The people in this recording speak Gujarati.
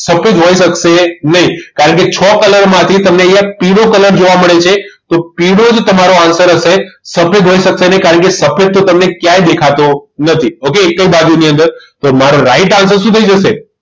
સફેદ હોઈ શકશે નહીં કારણ કે છો colour સાથે તમને અહીંયા પીળો colour જોવા મળે છે તો પીળો જ તમારો answer હશે સફેદ હોઈ શકે નહીં કારણ કે સફેદ તો તમને ક્યાંય દેખાતો નથી okay એકે બાજુ ની અંદર તો મારો right answer શું થઇ જશે